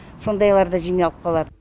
сондайларда жиналып қалады